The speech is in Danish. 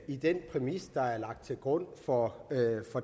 i den præmis der er lagt til grund for